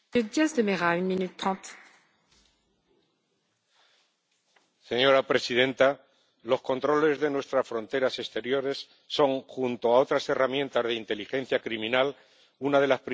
Señora presidenta, los controles de nuestras fronteras exteriores son, junto a otras herramientas de inteligencia criminal, una de las principales salvaguardas que tenemos para mantener la seguridad del espacio Schengen.